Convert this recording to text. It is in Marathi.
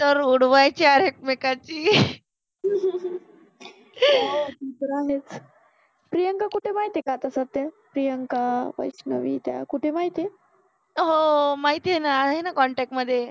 रुडवायचे यार एकमेकांचि हो ते तर आहेच. प्रियंका कुठे आहे माहिति आहे का सद्ध्या प्रियंका, वैैैश्णवि हो माहिति आहे न आहे न कॉन्टॅक्ट मधे